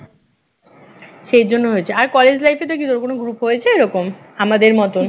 সেই জন্য হয়েছে আর কলেজ life এ তো কিরকম কোন group হয়েছে এরকম আমাদের মতন